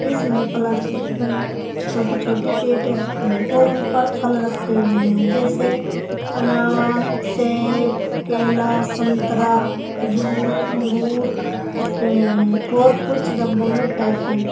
इसमें प्लास्टिक की छोटी छोटी पेटियां रखी हुई हैं और उन पर फल रखे हुए हैं जैसे अनार सेब केला संतरा खजूर अंगूर रखे हुए हैं और कुछ डब्बों में पैक है।